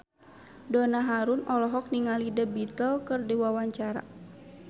Donna Harun olohok ningali The Beatles keur diwawancara